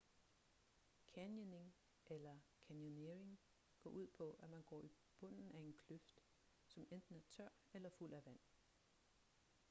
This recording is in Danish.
canyoning eller: canyoneering går ud på at man går i bunden af en kløft som enten er tør eller fuld af vand